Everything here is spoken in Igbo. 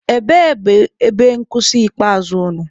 Ebee bụ ebe nkwụsị ikpeazụ unu?